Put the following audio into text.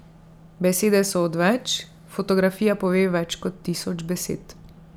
Besede so odveč, fotografija pove več kot tisoč besed.